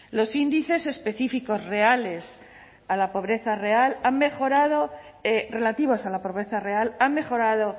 los índices específicos reales a la pobreza real han mejorad relativos a la pobreza real han mejorado